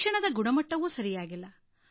ಶಿಕ್ಷಣದ ಗುಣಮಟ್ಟವೂ ಸರಿಯಾಗಿಲ್ಲ